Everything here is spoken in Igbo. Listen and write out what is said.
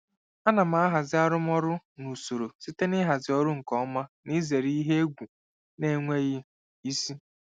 Ana m ahazi arụmọrụ na usoro site n'ịhazi ọrụ nke ọma na izere ihe egwu na-enweghị isi.